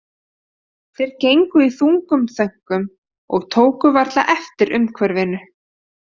Þeir gegnu í þungum þönkum og tóku varla eftir umhverfinu.